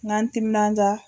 N ga n timinanja